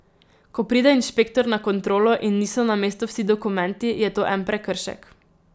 Ko pride inšpektor na kontrolo in niso na mestu vsi dokumenti, je to en prekršek.